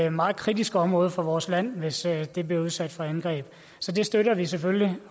et meget kritisk område for vores land hvis det bliver udsat for angreb så det støtter vi selvfølgelig